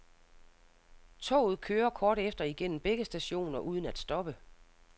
Toget kører kort efter igennem begge stationer uden at stoppe.